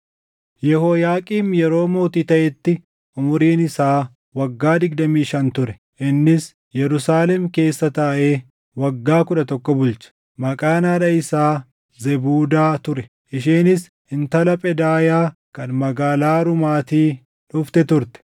Yehooyaaqiim yeroo mootii taʼetti umuriin isaa waggaa digdamii shan ture; innis Yerusaalem keessa taaʼee waggaa kudha tokko bulche. Maqaan haadha isaa Zebuudaa ture; isheenis intala Phedaayaa kan magaalaa Ruumaatii dhufte turte.